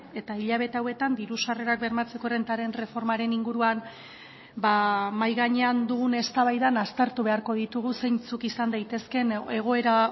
eta hilabete hauetan diru sarrerak bermatzeko errentaren erreformaren inguruan mahai gainean dugun eztabaidan aztertu beharko ditugu zeintzuk izan daitezkeen egoera